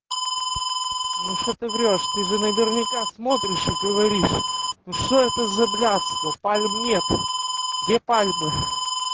ну что ты врёшь ты же наверняка смотришь и говоришь ну что это за блядство пальм нет где пальмы